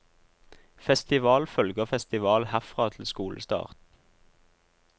Festival følger festival herfra til skolestart.